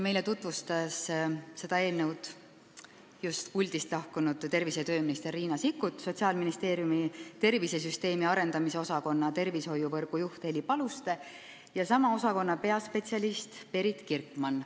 Meile tutvustasid seda eelnõu just puldist lahkunud tervise- ja tööminister Riina Sikkut, Sotsiaalministeeriumi tervisesüsteemi arendamise osakonna tervishoiuvõrgu juht Heli Paluste ja sama osakonna peaspetsialist Perit Kirkmann.